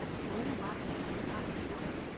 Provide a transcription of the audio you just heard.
Óvarlegt að tala svona